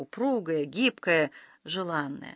упругая гибкая желанная